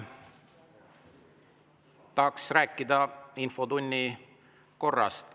Tahaks rääkida infotunni korrast.